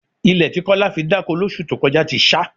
Ilẹ̀ tí Kọ́lá fi dáko lóṣù tó kọjá ti ṣá